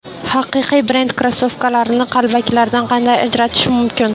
Haqiqiy brend krossovkalarini qalbakilaridan qanday ajratish mumkin?.